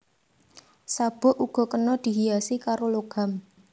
Sabuk uga kena dihiasi karo logam